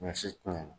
Ɲɔ si ti